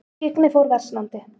Skyggni fór versnandi.